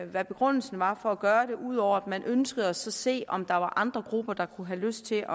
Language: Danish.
hvad begrundelsen var for at gøre det ud over at man ønskede at se om der var andre grupper der kunne have lyst til